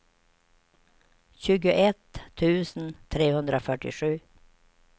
tjugoett tusen trehundrafyrtiosju